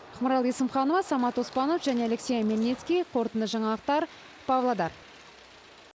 ақмарал есімханова самат оспанов және алексей омельницкий қорытынды жаңалықтар павлодар